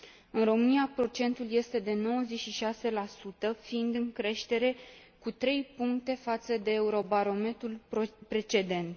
În România, procentul este de 96, fiind în creștere cu trei puncte față de Eurobarometrul precedent.